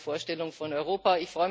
Das ist meine Vorstellung von Europa.